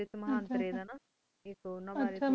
ਆਇ ਉਨਾ ਬਰੀ